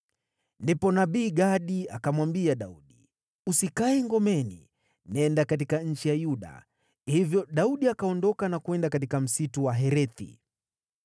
Ndipo nabii Gadi akamwambia Daudi, “Usikae ngomeni. Nenda katika nchi ya Yuda.” Hivyo Daudi akaondoka na kwenda katika msitu wa Herethi.